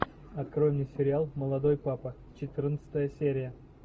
открой мне сериал молодой папа четырнадцатая серия